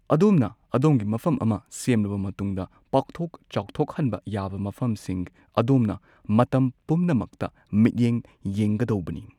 ꯑꯗꯣꯝꯅ ꯑꯗꯣꯝꯒꯤ ꯃꯐꯝ ꯑꯃ ꯁꯦꯝꯂꯕ ꯃꯇꯨꯡꯗ, ꯄꯥꯛꯊꯣꯛ ꯆꯥꯎꯊꯣꯛꯍꯟꯕ ꯌꯥꯕ ꯃꯐꯝꯁꯤꯡ ꯑꯗꯣꯝꯅ ꯃꯇꯝ ꯄꯨꯝꯅꯃꯛꯇ ꯃꯤꯠꯌꯦꯡ ꯌꯦꯡꯒꯗꯧꯕꯅꯤ꯫